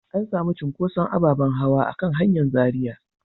An sami cunkuson ababen hawa a kan hanyar Zaria.